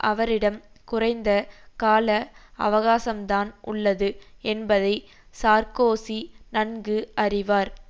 அவரிடம் குறைந்த கால அவகாசம்தான் உள்ளது என்பதை சார்க்கோசி நன்கு அறிவார்